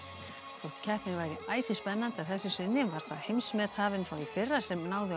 þótt keppnin væri æsispennandi að þessu sinni var það heimsmethafinn frá í fyrra sem náði á